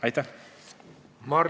Aitäh!